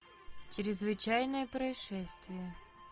чрезвычайное происшествие